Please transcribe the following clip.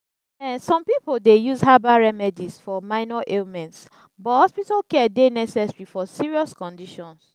um some people dey use herbal remedies for minor ailments but hospital care dey necessary for serious conditions.